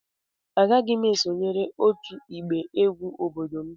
Agaghị m esonyere otu egba egwu obodo m.